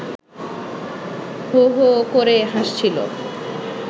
হো হো করে হাসছিল